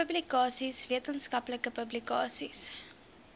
publikasies wetenskaplike publikasies